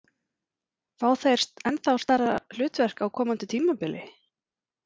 Fá þeir ennþá stærra hlutverk á komandi tímabili?